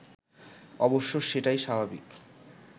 অবশ্য সেটাই স্বাভাবিক